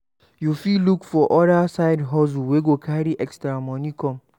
You fit look for other side hustle wey go carry extra money come